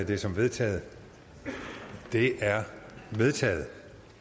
det som vedtaget det er vedtaget